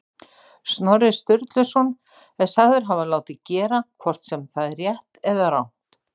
Snorri Sturluson er sagður hafa látið gera, hvort sem það er rétt eða rangt.